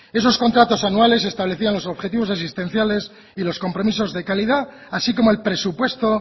esos contratos anuales establecían los objetivos asistenciales y los compromisos de calidad así como el presupuesto